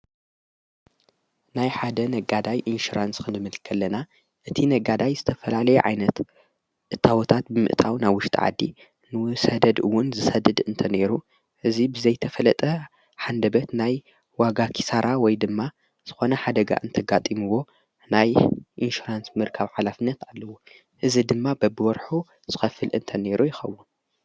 ናይ ሓደ ነጋዳይ ኢንሽራንስ ክንዲምልከለና እቲ ነጋዳይ ዝተፈላለ ዓይነት እታወታት ብምእጣው ናውሽ ተዓዲ ንውሰደድውን ዝሰድድ እንተነይሩ እዙይ ብዘይተፈለጠ ሓንደበት ናይ ዋጋ ኪሳራ ወይ ድማ ዝኾነ ሓደጋ እንተጋጢምዎ ናይ ኢንሽራንስ ምር ካብ ዓላፍነት ኣለዎ እዝ ድማ በብወርኁ ዝከፍል እንተ ነይሩ ይኸቡ።